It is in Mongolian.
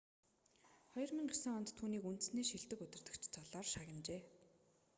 2009 онд түүнийг үндэсний шилдэг удирдагч цолоор шагнажээ